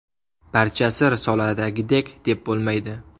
Barchasi risoladagidek deb bo‘lmaydi.